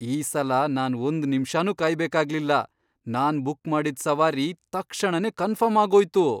ಈ ಸಲ ನಾನ್ ಒಂದ್ ನಿಮ್ಷನೂ ಕಾಯ್ಬೇಕಾಗ್ಲಿಲ್ಲ. ನಾನ್ ಬುಕ್ ಮಾಡಿದ್ ಸವಾರಿ ತಕ್ಷಣನೇ ಕನ್ಫರ್ಮ್ ಆಗೋಯ್ತು!